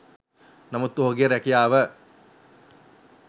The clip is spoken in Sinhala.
නමුත් ඔහුගේ රැකියාව